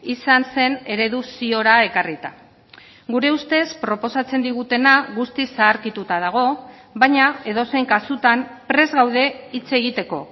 izan zen eredu ziora ekarrita gure ustez proposatzen digutena guztiz zaharkituta dago baina edozein kasutan prest gaude hitz egiteko